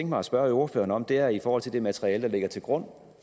mig at spørge ordføreren om er i forhold til det materiale der ligger til grund